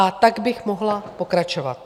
A tak bych mohla pokračovat.